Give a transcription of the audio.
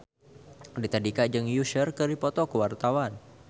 Raditya Dika jeung Usher keur dipoto ku wartawan